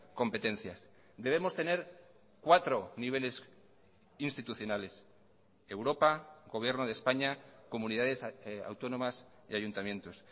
competencias debemos tener cuatro niveles institucionales europa gobierno de españa comunidades autónomas y ayuntamientos